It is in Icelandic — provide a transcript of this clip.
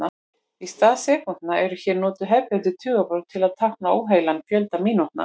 Í stað sekúndna eru hér notuð hefðbundin tugabrot til að tákna óheilan fjölda mínútna.